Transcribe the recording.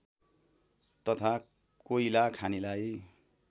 तथा कोइला खानीलाई